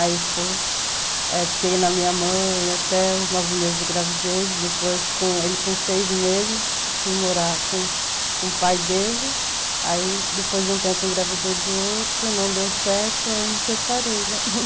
Aí fui, fiquei na minha mãe até os nove meses de gravidez, depois ele com seis meses, fui morar com o pai dele, aí depois de um tempo engravidei do outro, não deu certo, aí me separei, né?